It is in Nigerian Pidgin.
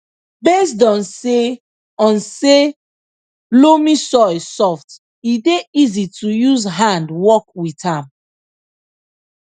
based on say on say loamy soil soft e dey easy to use hand work with am